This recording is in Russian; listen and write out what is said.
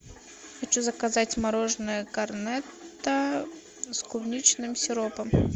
хочу заказать мороженое корнетто с клубничным сиропом